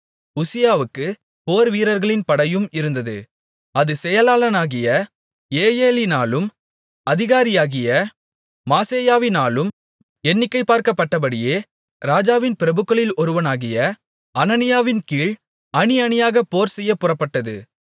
உசியாவுக்கு போர்வீரர்களின் படையும் இருந்தது அது செயலாளனாகிய ஏயெலினாலும் அதிகாரியாகிய மாசேயாவினாலும் எண்ணிக்கைபார்க்கப்பட்டபடியே ராஜாவின் பிரபுக்களில் ஒருவனாகிய அனனியாவின்கீழ் அணி அணியாகப் போர்செய்யப் புறப்பட்டது